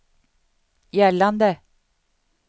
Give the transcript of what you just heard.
gällande